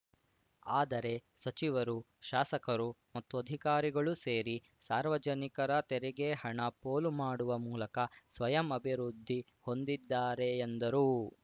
ಆದರೆ ಸಚಿವರು ಶಾಸಕರು ಮತ್ತು ಅಧಿಕಾರಿಗಳು ಸೇರಿ ಸಾರ್ವಜನಿಕರ ತೆರಿಗೆ ಹಣ ಪೋಲು ಮಾಡುವ ಮೂಲಕ ಸ್ವಯಂ ಅಭಿವೃದ್ಧಿ ಹೊಂದಿದ್ದಾರೆ ಎಂದರು